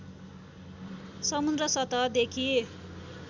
समुद्र सतहदेखि